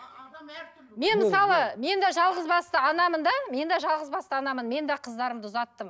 мен мысалы мен де жалғызбасты анамын да мен де жалғызбасты анамын мен де қыздарымды ұзаттым